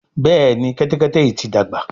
Béèni Kẹ́tẹ́kẹ́tẹ́ yí ti dàgbà.